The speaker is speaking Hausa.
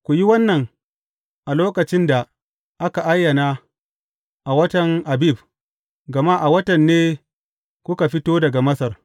Ku yi wannan a lokacin da aka ayana a watan Abib, gama a watan ne kuka fito daga Masar.